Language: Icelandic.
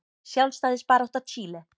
Sjálfstæðisbarátta Chile.